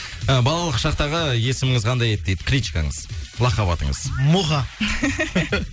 і балалық шақтағы есіміңіз қандай еді дейді кличкаңыз лахаб атыңыз муха